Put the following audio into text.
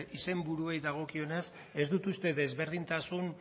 izenburuei dagokienez ez dut uste desberdintasun